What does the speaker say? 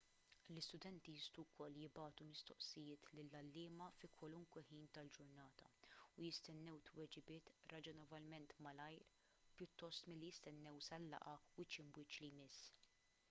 l-istudenti jistgħu wkoll jibagħtu mistoqsijiet lill-għalliema fi kwalunkwe ħin tal-ġurnata u jistennew tweġibiet raġonevolment malajr pjuttost milli jistennew sal-laqgħa wiċċ imb' wiċċ li jmiss